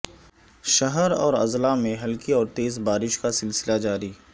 شہر اور اضلاع میں ہلکی اور تیز بارش کا سلسلہ جاری